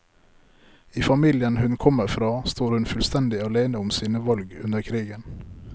I familien hun kommer fra står hun fullstendig alene om sine valg under krigen.